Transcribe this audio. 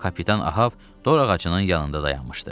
Kapitan Ahab dorağacının yanında dayanmışdı.